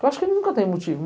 Eu acho que nunca tem motivo.